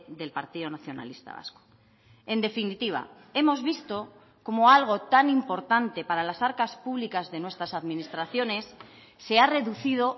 del partido nacionalista vasco en definitiva hemos visto como algo tan importante para las arcas públicas de nuestras administraciones se ha reducido